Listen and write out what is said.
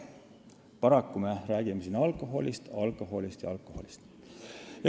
Paraku me räägime siin alkoholist, alkoholist ja alkoholist.